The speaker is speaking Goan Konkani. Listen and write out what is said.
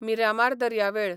मिरामार दर्यावेळ